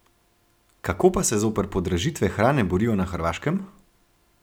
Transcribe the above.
Kako pa se zoper podražitve hrane borijo na Hrvaškem?